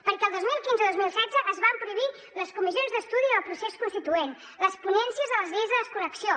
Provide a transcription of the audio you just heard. perquè el dos mil quinze i dos mil setze es van prohibir les comissions d’estudi del procés constituent les ponències de les lleis de desconnexió